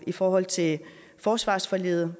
i forhold til forsvarsforliget